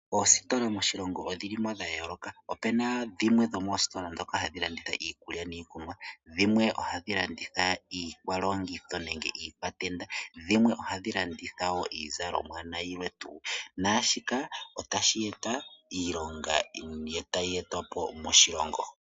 Oositola moshilongo odhili mo dha yooloka, opena dhimwe dho moositola dhoka hadhi landitha iikulya niikunwa, dhimwe ohadhi landitha iikwalongitho nenge iikwatenda, dhimwe ohadhi landitha woo iizalomwa na yilwe tuu, naashika otashi e ta iilonga, tayi etwa po moshilongo.